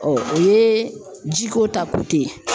o ye jiko ta ye